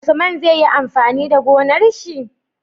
Usman zai yi amfani da gonar shi?